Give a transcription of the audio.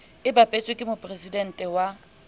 e bapetsweng ke moporesidente wa